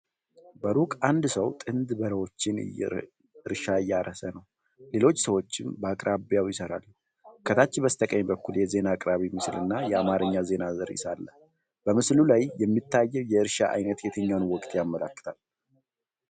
በሩቁ አንድ ሰው ጥንድ በሬዎችን እርሻ እያረሰ ነው፤ ሌሎች ሰዎችም በአቅራቢያው ይሰራሉ። ከታች በስተቀኝ በኩል የዜና አቅራቢ ምስልና የአማርኛ ዜና ርዕስ አለ። በምስሉ ላይ የሚታየው የእርሻ አይነት የትኛውን ወቅት ያመለክታል?